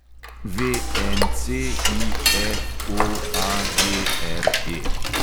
VNCIFOAGRE